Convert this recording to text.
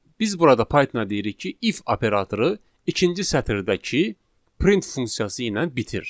biz burada Pythona deyirik ki, if operatoru ikinci sətirdəki print funksiyası ilə bitir.